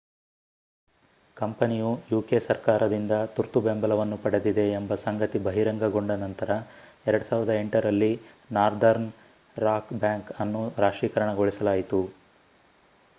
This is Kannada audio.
ಕಂಪನಿಯು ಯುಕೆ ಸರ್ಕಾರದಿಂದ ತುರ್ತು ಬೆಂಬಲವನ್ನು ಪಡೆದಿದೆ ಎಂಬ ಸಂಗತಿ ಬಹಿರಂಗಗೊಂಡ ನಂತರ 2008 ರಲ್ಲಿ ನಾರ್ದರ್ನ್ ರಾಕ್ ಬ್ಯಾಂಕ್ ಅನ್ನು ರಾಷ್ಟ್ರೀಕರಣಗೊಳಿಸಲಾಯಿತು